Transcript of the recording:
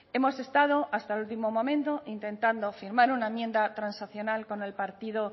hemos estado hasta el último momento intentando firmar una enmienda transaccional con el partido